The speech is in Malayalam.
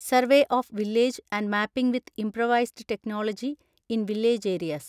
survey of village and mapping with improvised technology in village areas